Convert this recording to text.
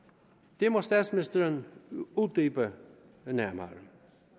det må statsministeren uddybe nærmere